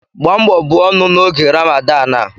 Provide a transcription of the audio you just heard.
Gbaa mbọ buo ọnụ n'oge Ramadan a